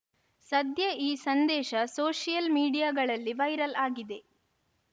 ಸದ್ಯ ಈ ಸಂದೇಶ ಸೋಷಿಯಲ್‌ ಮೀಡಿಯಾಗಳಲ್ಲಿ ವೈರಲ್‌ ಆಗಿದೆ